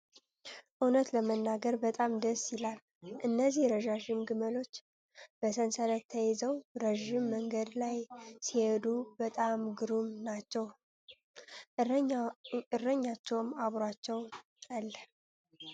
እውነት ለመናገር በጣም ደስ ይላል! እነዚህ ረዣዥም ግመሎች በሰንሰለት ተይዘው ረዥም መንገድ ላይ ሲሄዱ በጣም ግሩም ናቸው! እረኛቸውም አብሯቸው አለ!